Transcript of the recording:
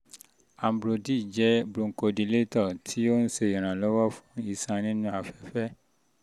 ambrodil jẹ́ bronchodilator um tí um ó ń um ṣe ìrànlọ́wọ́ fún iṣan inú afẹfẹ